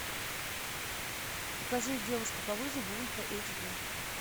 покажи девушка по вызову ультра эйч ди